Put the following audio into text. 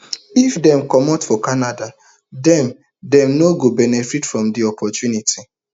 if dem comot for canada dem dem no go benefit from di opportunity